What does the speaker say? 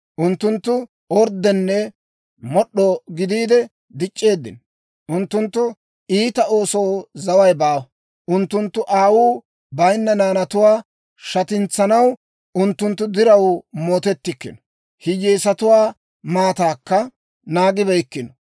Unttunttu orddenne mod'd'o gidiide dic'c'eeddino. Unttunttu iita oosoo zaway baawa. Unttunttu aawuu bayinna naanatuwaa shatintsanaw unttunttu diraw mootettikkino; hiyyeesatuwaa maataakka naagibeykkino.